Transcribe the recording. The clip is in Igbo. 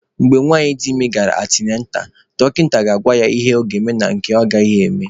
Mgbe nwanyị dị ime gara antịnantal, dọkịta ga-agwa ya ihe ọ ga-eme na nke ọ gaghị eme.